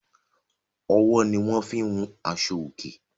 owó ní wón fín hùn Aṣọ oke